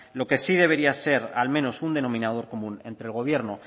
lo que sí debería ser al menos un denominador común entre el gobierno